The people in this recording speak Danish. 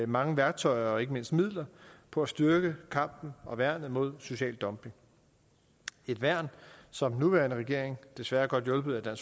mange værktøjer og ikke mindst midler på at styrke kampen og værnet mod social dumping et værn som den nuværende regering desværre godt hjulpet af